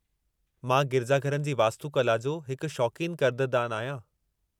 मां गिरिजाघरनि जी वास्तुकला जो हिकु शौक़ीन कदर्दानु आहियां।